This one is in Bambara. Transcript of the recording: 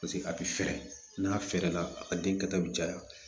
Paseke a bɛ fɛrɛ n'a fɛrɛla a ka den kɛta bɛ caya